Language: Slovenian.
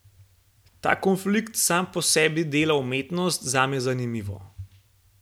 Ta konflikt sam po sebi dela umetnost zame zanimivo.